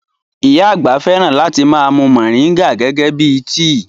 Ìyá àgbà fẹ́ràn láti ma mú moringa gẹ́gẹ́ bíi tíì